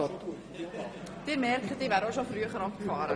Sie merken, ich wäre auch schon zu früh abgefahren.